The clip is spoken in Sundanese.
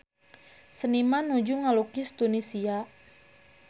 Seniman nuju ngalukis Tunisia